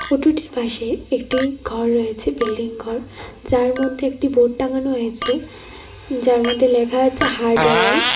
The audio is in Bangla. অটোটির পাশে একটি ঘর রয়েছে বিল্ডিং ঘর যার মধ্যে একটি বোর্ড টাঙ্গানো হয়েছে যার মধ্যে লেখা আছে হার্ডওয়ার .